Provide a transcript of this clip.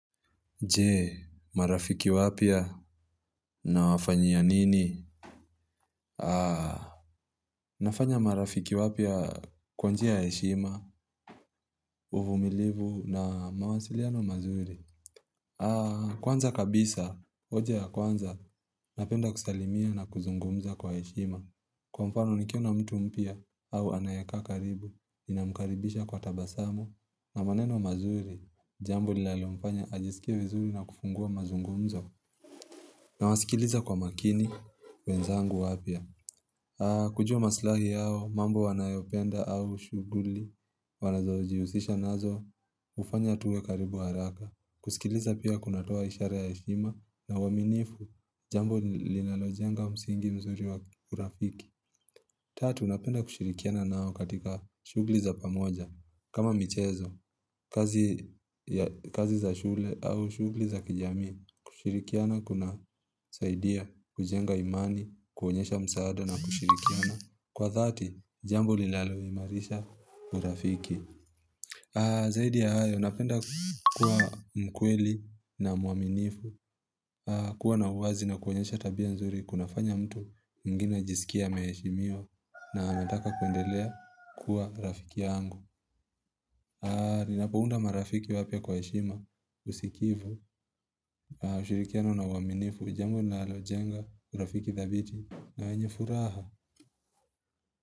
Nje marafiki wapya na wafanyia nini nafanya marafiki wapya kwa njia ya heshima uvumilivu na mawasiliano mazuri kwanza kabisa oje ya kwanza napenda kusalimia na kuzungumza kwa heshima kwa mfano nikiona na mtu mpya au anayekaa karibu ninamkaribisha kwa tabasamu na maneno mazuri jambo linalo mfanya ajisikie vizuri na kufungua mazungumzo na wasikiliza kwa makini wenzangu wapya. Kujua maslahi yao mambo wanayopenda au shughuli wanazojihusisha nazo hufanya tuwe karibu haraka. Kusikiliza pia kunatoa ishara ya heshima na uaminifu jambo linalojenga msingi mzuri wa urafiki. Tatu, unapenda kushirikiana nao katika shughuli za pamoja. Kama michezo, kazi ya za shule au shughuli za kijamii, kushirikiana kuna saidia, kujenga imani, kuonyesha msaada na kushirikiana. Kwa dhati, jambo linalo imarisha urafiki. Zaidi ya hayo, napenda kuwa mkweli na mwaminifu kuwa na uwazi na kuonyesha tabia nzuri kunafanya mtu mgeni ajisikie ameheshimiwa na anataka kuendelea kuwa rafiki yangu Ninapo unda marafiki wapya kwa heshima usikivu, ushirikiano na uwaminif ni jambo linalojenga urafiki thabiti na wenye furaha.